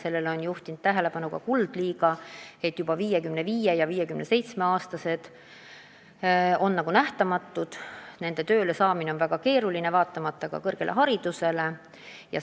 Sellele on juhtinud tähelepanu ka Kuldliiga, et juba 55- ja 57-aastased on nagu nähtamatud, nende töölesaamine on väga keeruline, seda vaatamata ka kõrgharidusele.